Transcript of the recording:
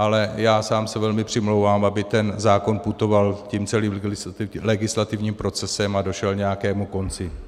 Ale já sám se velmi přimlouvám, aby ten zákon putoval tím celým legislativním procesem a došel nějakému konci.